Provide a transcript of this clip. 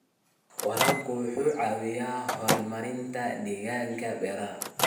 Waraabka wuxuu caawiyaa horumarinta deegaanka beeraha.